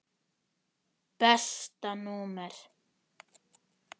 Besta númer?